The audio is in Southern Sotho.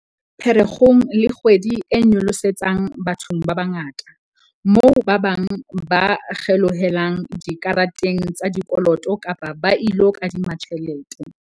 Pherekgong ke kgwedi e nyolosetsang bathong ba bangata, moo ba bang ba kgelohelang dikareteng tsa dikoloto kapa ba ilo kadima tjhelete.